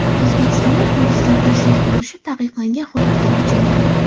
O‘zbekistonda turistlar tashrif buyurishi taqiqlangan hududlar ochildi.